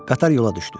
Qatar yola düşdü.